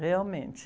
Realmente.